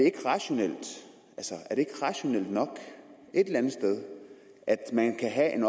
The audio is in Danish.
ikke rationelt nok et eller andet sted at man kan have en